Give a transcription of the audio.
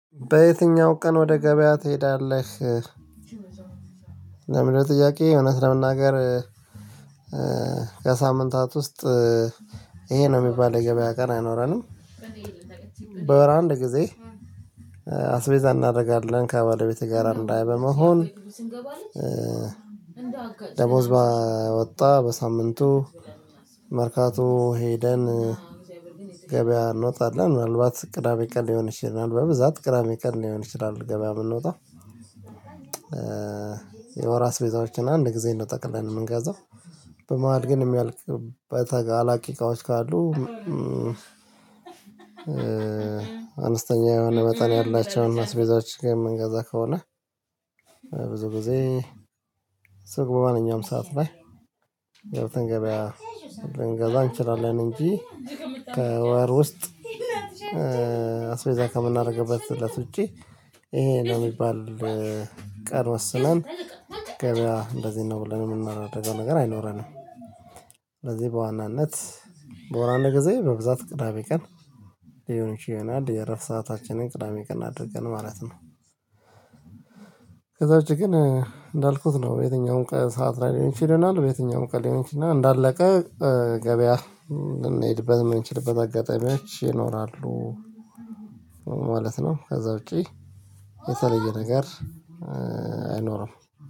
በየትኛው ቀን ወደ ገበያ ትሄዳለህ? ለሚለው ጥያቄ እውነት ለመናገር ከሳምንታት ውስጥ ይሄ ነው የሚባል የገበያ ቀን አይኖረንም። በራንድ ጊዜ አስቤዛ እናደርጋለን ከባለቤቴ ጋር አንድ ላይ በመሆን። ደሞዝ ባወጣ በሳምንቱ መርካቶ ሄደን ገበያ እንወጣለን ምናልባት ቅዳሜ ቀን ሊሆን ይችላል በብዛት ቅዳሜ ቀን ሊሆን ይችላል ገበያ ብንወጣ። የወር አስቤዛዎችን አንድ ጊዜ ነው ጠቅለን የምንገዛው በመሃል ግን የሚያልቅበት አላቂ እቃዎች ካሉ። አንስተኛ የሆነ በጣም ያላቸውን አስቤዛዎች ጋር የምንገዛ ከሆነ ብዙ ጊዜ ሱቅ በማንኛውም ሰዓት ላይ ገብተን ገበያ ልንገዛ እንችላለን። እንጂ ከወር ውስጥ አስቤዛ ከምናደርግበትለት ውጪ ይሄ ለሚባል ቀር ወስነን ገበያ እንደዚህ ነው ብለን የምናደርገው ነገር አይኖረንም። ለዚህ በዋናነት በወር አንድ ጊዜ በብዛት ቅዳሜ ቀን ሊሆን ይሆናል የእረፍት ሰአታችንን ቅዳሜ ቀን አድርገን ማለት ነው። ከዛ ውጪ ግን እንዳልኩት ነው በየትኛውም ቀን ሰዓት ላይ ሊሆን ይችለናል። በየትኛውም ቀን ሊሆን ይችላል እና እንዳለቀ ገበያ ልንሄድበት ምንችልበት አጋጣሚዎች ይኖራሉ። ማለት ነው ከዛ ውጪ የተለየ ነገር አይኖርም